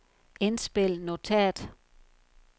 indspil notat